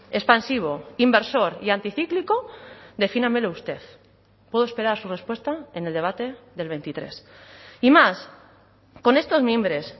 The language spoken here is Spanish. expansivo inversor y anticíclico defínamelo usted puedo esperar su respuesta en el debate del veintitrés y más con estos mimbres